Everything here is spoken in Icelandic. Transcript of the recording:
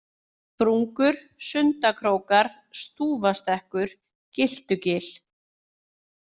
Sprungur, Sundakrókar, Stúfastekkur, Gyltugil